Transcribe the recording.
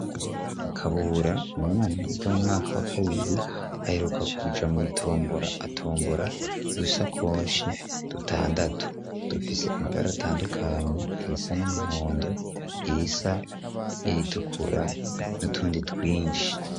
kabura imu mwameriga mumwaka wa kabiri aheruka kuja mu itombora atombora ku dusakoshi dutandatu dufise amabara atandukanye irisa n'umuhondo irisa n'iritukura n'utundi twinshi